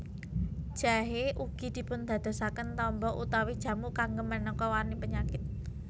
Jahé ugi dipundadosaken tamba utawi jamu kanggé manéka warni penyakit